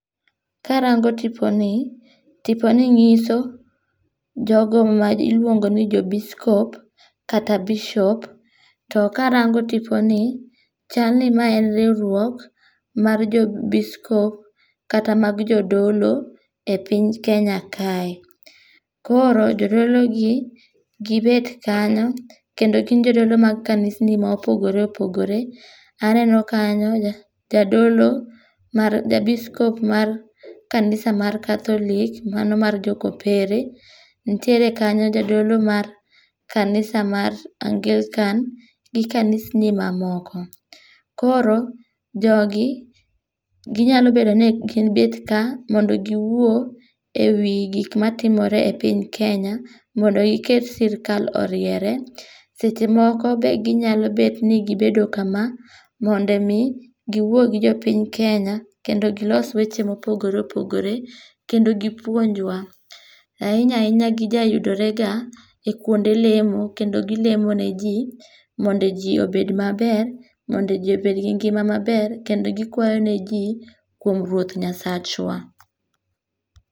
Karangó tiponi, tiponi nyiso jogo ma iluongoni jobiskop kata Bishop. To karango tiponi, chalni, mae en riwruok mar jobiskop, kata mag Jodolo e piny Kenya kae. Koro jodologi, gibet kanyo, kendo gin jodolo mag kanisni mopogore opogore. Aneno kanyo jadolo mar, jobiskop mar kanisa mar Catholic mano mar jo kopere. Nitiere kanyo, jadolo mar kanisa mar Angilkan, gi kanisni mamoko. Koro jogi, ginyalo bedo ni gibet ka mondo giwuo e wi gik matimore e piny Kenya, mondo giket sirkal oriere. Seche moko be nyalo bet ni gibedo kama, mondo omi, giwuo gi jopiny Kenya, kendo gilos wech ma opogore opogore, kendo gipuonjwa. Ahinya ahinya gijayudorega e kuonde lemo, kendo gilemo ne ji, mondo ji obed maber, mondo ji obed gi ngima maber, kendo gikwayo ne ji kuom Ruoth Nyasachwa.